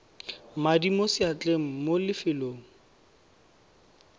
madi mo seatleng mo lefelong